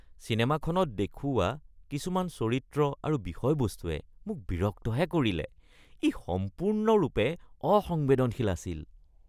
চিনেমাখনত দেখুওৱা কিছুমান চৰিত্ৰ আৰু বিষয়বস্তুৱে মোক বিৰক্তহে কৰিলে। ই সম্পূৰ্ণৰূপে অসংবেদনশীল আছিল।